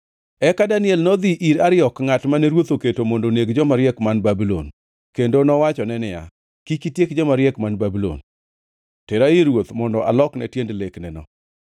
Eka Daniel nodhi ir Ariok, ngʼat mane ruoth oketo mondo oneg joma riek man Babulon, kendo nowachone niya, “Kik itiek joma riek man Babulon. Tera ir ruoth mondo alokne tiend lekneno.”